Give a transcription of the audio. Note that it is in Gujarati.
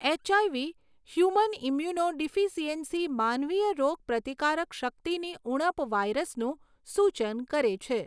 એચઆઇવી, હ્યુમન ઈમ્યુનો ડિફીસીએન્સી માનવીય રોગ પ્રતિકારક શક્તિની ઉણપ વાયરસનું સૂચન કરે છે.